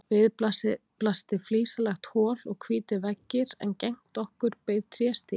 Við blasti flísalagt hol og hvítir veggir en gegnt okkur beið tréstigi.